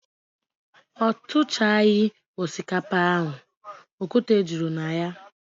O tuchaghi osikapa ahu, okwute juru na ya.